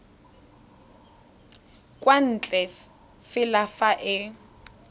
kwa ntle fela fa e